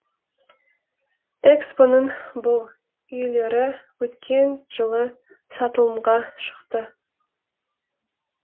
экспо ның бұл үйлері өткен жылы сатылымға шықты